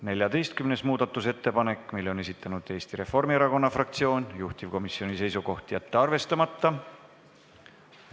14. muudatusettepaneku on esitanud Eesti Reformierakonna fraktsioon, juhtivkomisjoni seisukoht: jätta see arvestamata.